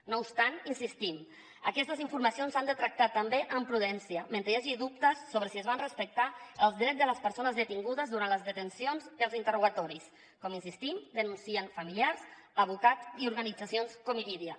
no obstant hi insistim aquestes informacions s’han de tractar també amb prudència mentre hi hagi dubtes sobre si es van respectar els drets de les persones detingudes durant les detencions i els interrogatoris com hi insistim denuncien familiars advocats i organitzacions com irídia